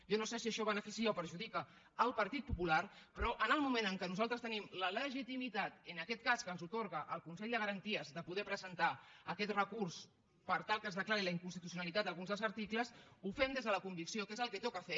jo no sé si això beneficia o perjudica el partit popular però en el moment en què nosaltres tenim la legitimitat en aquest cas que ens atorga el consell de garanties de poder presentar aquest recurs per tal que es declari la inconstitucionalitat d’alguns dels articles ho fem des de la convicció que és el que toca fer